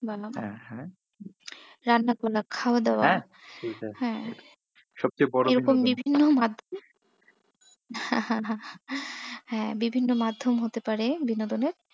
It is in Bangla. বলা, হ্যাঁ হ্যাঁ রান্না করা, খাওয়া দাওয়া হ্যাঁ এরকম বিভিন্ন মাধ্যমই হ্যাঁ বিভিন্ন মাধ্যম হতে পারে বিনোদনের,